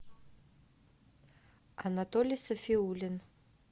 анатолий сафиулин